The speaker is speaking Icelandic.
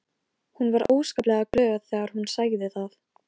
Hún var óskaplega glöð þegar hún sagði það.